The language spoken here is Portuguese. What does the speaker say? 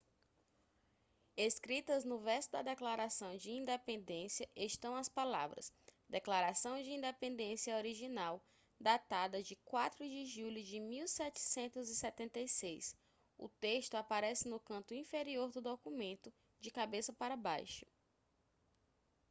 escritas no verso da declaração de independência estão as palavras declaração de independência original datada de 4 de julho de 1776 o texto aparece no canto inferior do documento de cabeça para baixo